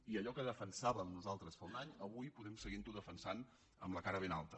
i allò que defensàvem nosaltres fa un any avui podem seguir ho defensant amb la cara ben alta